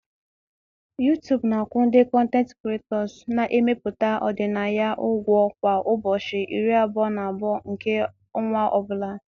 YouTube na-akwụ ndị kọntent kiretọs na-emepụta ọdịnaya ụgwọ kwa ụbọchị iri abụọ na abụọ nke ọnwa ọ bụla